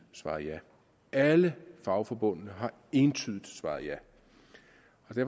svaret ja og alle fagforbundene har entydigt svaret ja